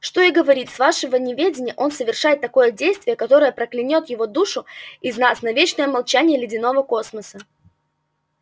что и говорить с вашего неведения он совершает такое действие которое проклянёт душу каждого из нас на вечное молчание ледяного космоса